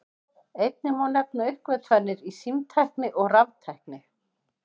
Einnig má nefna uppgötvanir í símtækni og raftækni.